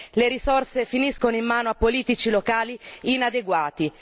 Le risorse finiscono in mano a politici locali inadeguati.